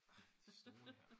Ej de stole her